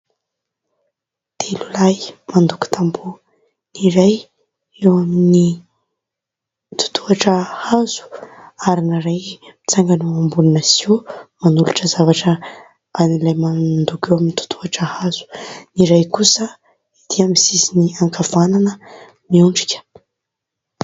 Telo lahy mandoko tamboho. Ny iray eo amin'ny totohitra hazo ary ny iray mitsangana eo ambonina "sio" manolotra zavatra an'ilay mandoko eo amin'ny totohitra hazo. Ny iray kosa ety amin'ny sisiny ankavanana miondrika.